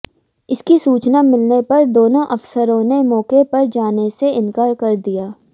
इसकी सूचना मिलने पर दोनों अफसरों ने मौके पर जाने से इनकार कर दिया